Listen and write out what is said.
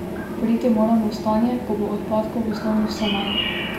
Priti moramo v stanje, ko bo odpadkov v osnovi vse manj.